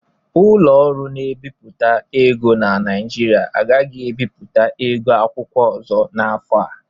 Ụlọ ọrụ na-ebipụta ego na Naijiria agaghi ebiputa ego akwụkwọ ọzọ n'afọ a.